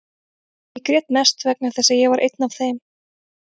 Ég grét mest vegna þess að ég var einn af þeim.